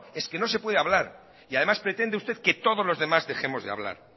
es que no se puede hablar y además pretende usted que todos los demás dejemos de hablar